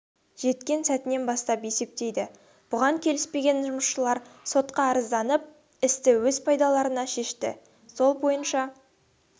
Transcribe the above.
жеткен сәтінен бастап есептейді бұған келіспеген жұмысшылар сотқа арызданып істі өз пайдаларына шешті сол бойынша